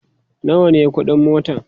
nawa ne ƙuɗin motan?